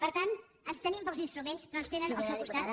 per tant tenim pocs instruments però ens tenen al seu costat